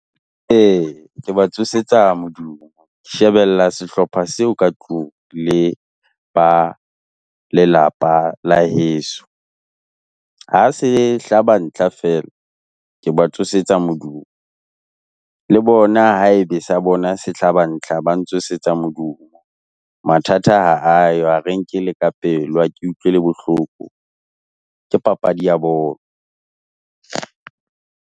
E! ke ba tsosetsa modumo, shebella sehlopha seo ka tlung, le ba lelapa la heso. Ha se hlaba ntlha fela, ke ba tsosetsa modumo, le bona haebe sa bona se hlaba ntlha, ba ntsosetsa modumo, mathata ha ayo, ha re e nke le ka pelo, ha ke utlwi le bohloko. Ke papadi ya bolo.